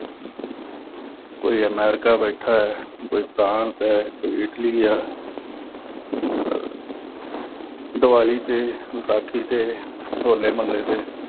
ਕੋਈ ਅਮਰੀਕਾ ਬੈਠਾ, ਕੋਈ ਫਰਾਂਸ ਆ, ਕੋਈ ਇਟਲੀ ਆ। ਅਹ ਦਿਵਾਲੀ ਤੇ, ਵਿਸਾਖੀ ਤੇ, ਹੋਲੇ-ਮਹੱਲੇ ਤੇ